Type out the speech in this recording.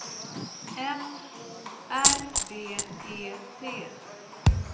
M O R D E T